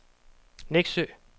Nexø